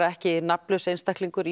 ekki nafnlaus einstaklingur